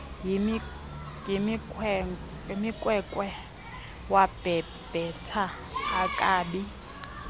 yinkwenkwe wabhebhetha akabi